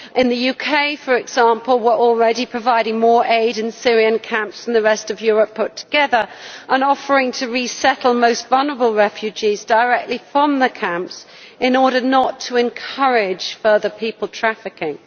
In the UK, for example, we are already providing more aid in Syrian camps than the rest of Europe put together, and offering to resettle the most vulnerable refugees directly from the camps in order not to encourage further people trafficking.